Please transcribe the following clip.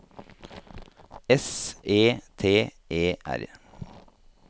S E T E R